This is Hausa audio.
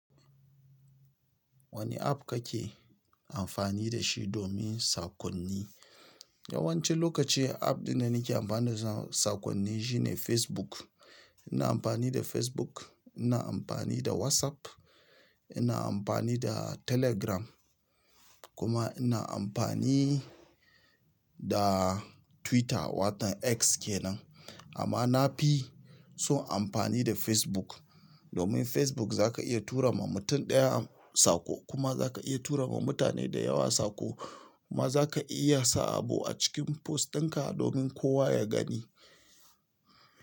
Wani app kake amfani da shi domin sakonni? Yawanci lokaci app da nake amfani da sakonni shine Facebook. Ina amfani da Facebook, ina amfani da WhatsApp, ina amfani da Telegram kuma ina amfani da Twitter wato X kenan. Amma na fi son amfani da Facebook domin Facebook za ka iya tura ma mutum ɗaya sako kuma za ka iya tura ma mutane da yawa sako kuma za ka iya sa abu a cikin post ɗinka domin kowa ya gani.